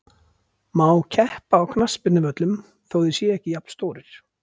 Má keppa á knattspyrnuvöllum þó þeir séu ekki jafnstórir?